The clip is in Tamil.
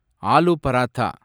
ஆலு பராத்தா